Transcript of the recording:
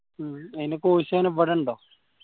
ഉം അയിന്റെ course എങ്ങനെ ഇവിടെ ഉണ്ടോ